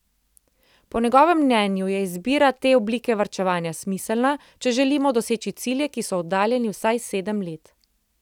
Po njegovem mnenju je izbira te oblike varčevanja smiselna, če želimo doseči cilje, ki so oddaljeni vsaj sedem let.